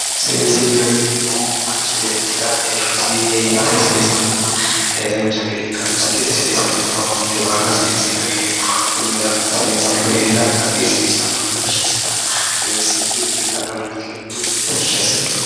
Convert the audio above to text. Seensilleho yineemmohu manchi beettira heeshshosi heerate dancha gede ikkannosi gede assannore baala seensilleho yineemmo konni daafira seensillu heera hagiirsiissannonna tashshi assitanno seensillu yanna adhannoha ikkirono tashshi assanno